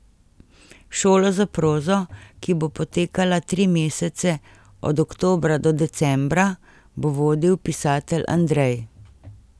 Šolo za prozo, ki bo potekala tri mesece, od oktobra do decembra, bo vodil pisatelj Andrej.